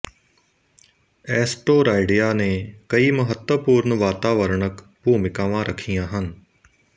ਐਸਟੋਰਾਇਡਿਆ ਨੇ ਕਈ ਮਹੱਤਵਪੂਰਣ ਵਾਤਾਵਰਣਕ ਭੂਮਿਕਾਵਾਂ ਰੱਖੀਆਂ ਹਨ